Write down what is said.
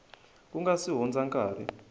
ku nga si hundza nkarhi